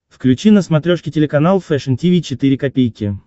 включи на смотрешке телеканал фэшн ти ви четыре ка